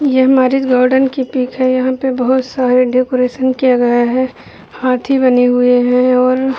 ये हमारी की पीक है। यहाँ पे बहुत सारे डेकोरेशन किया गया है। हांथी बनी हुए हैं और --